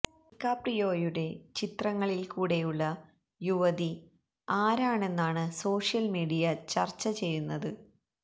ഡികാപ്രിയോയുടെ ചിത്രങ്ങളില് കൂടെയുള്ള യുവതി ആരാണെന്നാണ് സോഷ്യല് മീഡിയ ചര്ച്ച ചെയ്യുന്നത്